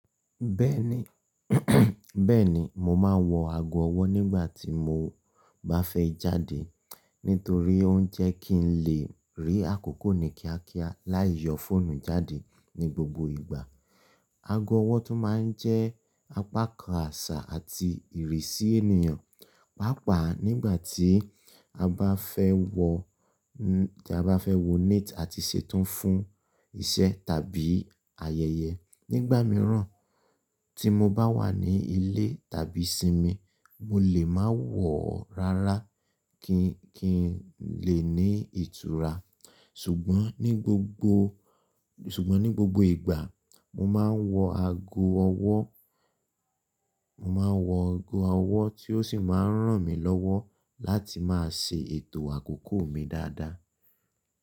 Bẹ́ẹ̀ni, mo ma wọ ago ọwọ́ nígbà tí mo bá fẹ́ jáde, nítorí ó ń jẹ́ kí n lè rí àkókò ní kíákíá láì yọ fóònù jáde ní gbogbo ìgbà. Ago ọwọ́ tún ma ń jẹ́ apakan àṣà àti ìrísí ènìyàn, pàápàá nígbà tí a bá fẹ́ wọ, tí a bá fẹ́ wọ neet àti ṣetán fún iṣẹ́ tàbí ayẹyẹ. Nígbà mìíràn tí mo bá wà ní ilé tàbí sí mi, mo lè ma wọ̀ ọ́ rárá kí, kí n lè ní ìtura. Ṣùgbọ́n ní gbogbo, ṣùgbọ́n ní gbogbo ìgbà mo ma n wọ ago ọwọ́, mo ma n wọ ago ọwọ́ tí ó sì má a ń ràn mí lọ́wọ́ láti má a ṣe ètò àkókò mi dáadáa.